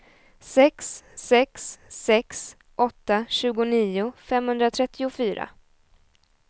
sex sex sex åtta tjugonio femhundratrettiofyra